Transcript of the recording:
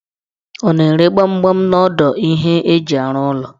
Ọ na-ere gbamgbam n'odo ihe eji arụ ụlọ?